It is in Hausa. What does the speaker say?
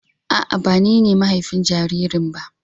A'a, ba ni ne mahafin jaririn ba.